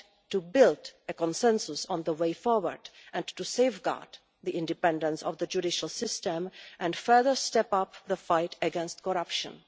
to build consensus on the way forward, to safeguard the independence of the judicial system and further step up the fight against corruption.